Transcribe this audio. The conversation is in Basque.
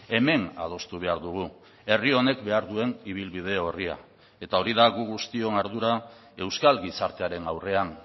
hemen adostu behar dugu herri honek behar duen ibilbide orria eta hori da gu guztion ardura euskal gizartearen aurrean